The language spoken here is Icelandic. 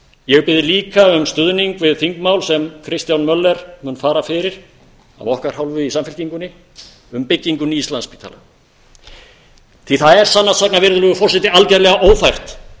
ég bið líka um stuðning við þingmál sem kristján möller mun fara fyrir af okkar hálfu í samfylkingunni um byggingu nýs landspítala virðulegur forseti það er sannast sagna algjörlega ófært